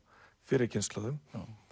fyrri kynslóðum